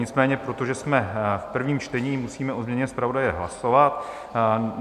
Nicméně protože jsme v prvním čtení, musíme o změně zpravodaje hlasovat.